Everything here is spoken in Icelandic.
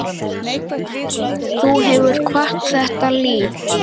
Þú hefur kvatt þetta líf.